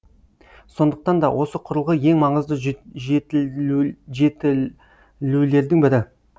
сондықтанда осы құрылғы ең маңызды жетілулердің бірі